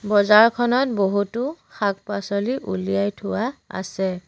বজাৰখনত বহুতো শাক পাচলি উলিয়াই থোৱা আছে।